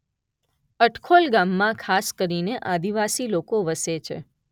અટખોલ ગામમાં ખાસ કરીને આદિવાસી લોકો વસે છે.